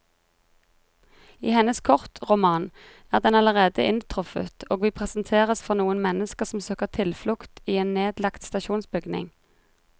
I hennes kortroman er den allerede inntruffet, og vi presenteres for noen mennesker som søker tilflukt i en nedlagt stasjonsbygning.